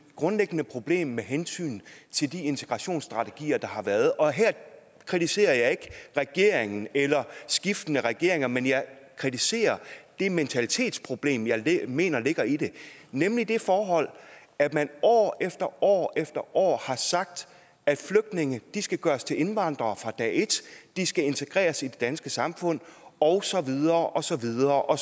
grundlæggende problem med hensyn til de integrationsstrategier der har været og her kritiserer jeg ikke regeringen eller skiftende regeringer men jeg kritiserer det mentalitetsproblem jeg mener ligger i det nemlig det forhold at man år efter år efter år har sagt at flygtninge skal gøres til indvandrere fra dag et de skal integreres i det danske samfund og så videre og så videre og